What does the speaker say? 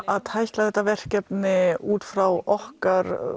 að tækla þetta verkefni út frá okkar